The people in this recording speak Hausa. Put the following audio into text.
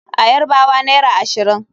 A Yarbawa naira ashirin.